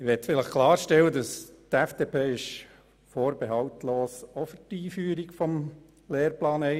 Ich möchte klarstellen, dass die FDP-Fraktion die Einführung des Lehrplans 21 vorbehaltlos unterstützt.